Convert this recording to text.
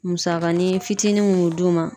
Musakanin fitinin mun be d'u ma